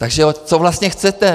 Takže co vlastně chcete?